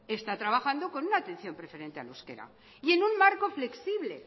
está trabajando con una atención preferente al euskera y en un marco flexible